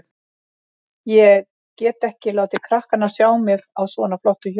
Ég get ekki látið krakkana sjá mig á svona flottu hjóli.